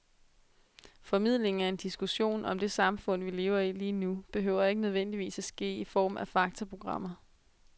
Formidlingen af en diskussion om det samfund, vi lever i lige nu, behøver ikke nødvendigvis at ske i form af faktaprogrammer.